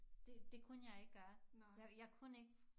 Det det kunne jeg ikke gøre jeg kunne ik